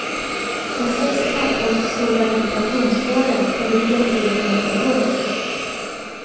De sex knapphålsstora ventilationshålen på ryggen fyller ingen funktion.